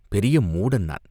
"பெரிய மூடன் நான்!